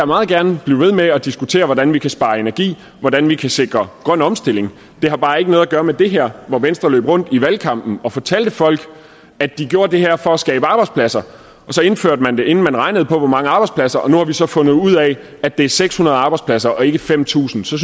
meget gerne blive ved med at diskutere hvordan vi kan spare energi og hvordan vi kan sikre grøn omstilling det har bare ikke noget at gøre med det her hvor venstre løb rundt i valgkampen og fortalte folk at de gjorde det her for at skabe arbejdspladser og så indførte man det inden man havde regnet på hvor mange arbejdspladser og nu har vi så fundet ud af at det er seks hundrede arbejdspladser og ikke fem tusind så